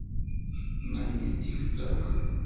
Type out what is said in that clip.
найди тик так